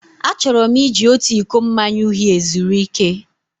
Achọrọ m iji otu iko mmanya uhie zuru ike.